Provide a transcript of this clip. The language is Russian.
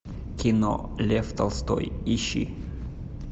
кино лев толстой ищи